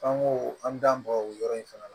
An ko an bɛ dan bɔn o yɔrɔ in fana na